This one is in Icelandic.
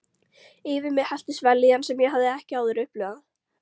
Yfir mig helltist vellíðan sem ég hafði ekki áður upplifað.